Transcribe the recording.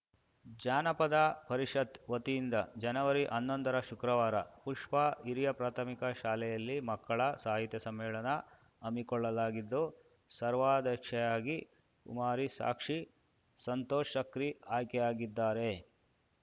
ಜಾನಪದ ಪರಿಷತ್‌ ವತಿಯಿಂದ ಜನವರಿ ಹನ್ನೊಂದರ ಶುಕ್ರವಾರ ಪುಷ್ಪಾ ಹಿರಿಯ ಪ್ರಾಥಮಿಕ ಶಾಲೆಯಲ್ಲಿ ಮಕ್ಕಳ ಸಾಹಿತ್ಯ ಸಮ್ಮೇಳನ ಹಮ್ಮಿಕೊಳ್ಳಲಾಗಿದ್ದು ಸರ್ವಾಧ್ಯಕ್ಷೆಯಾಗಿ ಕುಮಾರಿಸಾಕ್ಷಿ ಸಂತೋಷ್‌ ಸಕ್ರಿ ಆಯ್ಕೆಯಾಗಿದ್ದಾರೆ